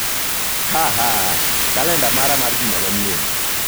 Haha! Kalenda mara mar juma manyien.